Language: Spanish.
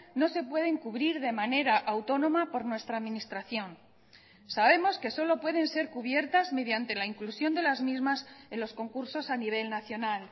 no se pueden cubrir de manera autónoma por nuestra administración sabemos que solo pueden ser cubiertas mediante la inclusión de las mismas en los concursos a nivel nacional